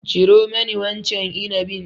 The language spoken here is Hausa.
Ciro mani wancan inabin.